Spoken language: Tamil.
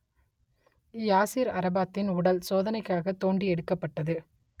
யாசிர் அரபாத்தின் உடல் சோதனைக்காகத் தோண்டி எடுக்கப்பட்டது